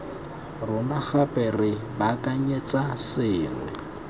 rona gape re baakanyetsa sengwe